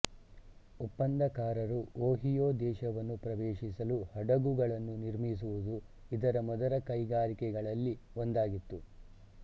ಒಪ್ಪಂದಕಾರರು Ohio ದೇಶವನ್ನು ಪ್ರವೇಶಿಸಲು ಹಡಗುಗಳನ್ನು ನಿರ್ಮಿಸುವುದು ಇದರ ಮೊದಲ ಕೈಗಾರಿಕೆಗಳಲ್ಲಿ ಒಂದಾಗಿತ್ತು